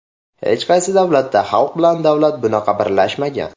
Hech qaysi davlatda xalq bilan davlat bunaqa birlashmagan.